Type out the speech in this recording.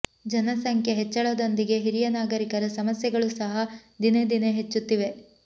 ಜನಸಂಖ್ಯೆ ಹೆಚ್ಚಳದೊಂದಿಗೆ ಹಿರಿಯ ನಾಗರಿಕರ ಸಮಸ್ಯೆಗಳೂ ಸಹ ದಿನೇ ದಿನೇ ಹೆಚ್ಚುತ್ತಿವೆ